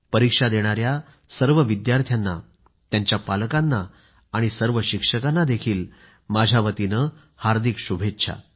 परीक्षा देणाया सर्व विद्यार्थ्यांनात्यांच्या पालकांना आणि सर्व शिक्षकांना माझ्या वतीने हार्दिक शुभेच्छा